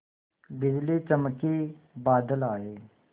बिजली चमकी बादल आए